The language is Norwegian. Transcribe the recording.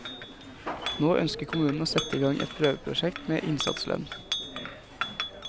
Nå ønsker kommunen å sette i gang et prøveprosjekt med innsatslønn.